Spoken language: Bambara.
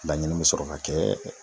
Laɲini be sɔrɔ ka kɛ.